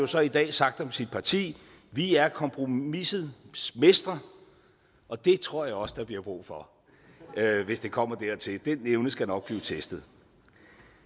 så i dag sagt om sit parti vi er kompromisets mestre og det tror jeg også der bliver brug for hvis det kommer dertil den evne skal nok blive testet